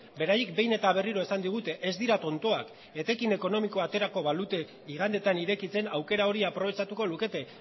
beraiek behin eta berriro esan digute ez dira tontoak etekin ekonomikoa aterako balute igandeetan irekitzen aukera hori aprobetxatuko lukete